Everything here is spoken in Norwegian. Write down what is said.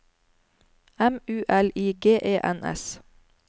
M U L I G E N S